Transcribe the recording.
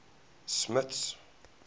smuts